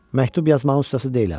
Məktub yazmağın ustası deyiləm.